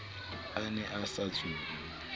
a ne a sa tsube